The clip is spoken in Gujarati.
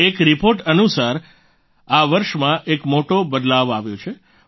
એક રિપોર્ટ અનુસાર આ વર્ષમાં એક મોટો બદલાવ આવ્યો છે